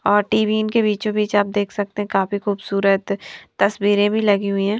और टीवीन के बीचो बीच आप देख सकते हैं काफी खूबसूरत तस्वीरें भी लगी हुई हैं।